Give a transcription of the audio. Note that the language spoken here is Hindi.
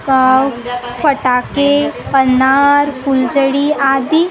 पटाके पन्नारफुलजड़ीआदि।